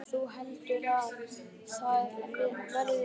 Þú heldur þá að það verði stelpa?